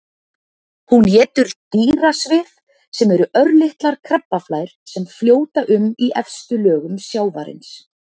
Hún étur dýrasvif sem eru örlitlar krabbaflær sem fljóta um í efstu lögum sjávarins.